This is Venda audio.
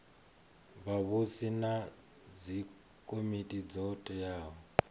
vhavhusi na dzikomiti dzo teaho